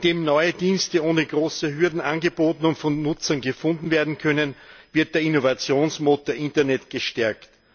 Indem neue Dienste ohne große Hürden angeboten und von Nutzern gefunden werden können, wird der Innovationsmotor Internet gestärkt.